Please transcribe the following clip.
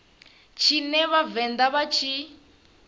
tshine vha vhavenḓa vha tshi